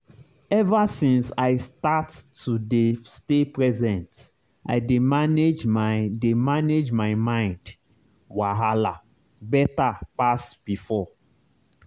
ever since i start to dey stay present i dey manage my dey manage my mind wahala better pass before.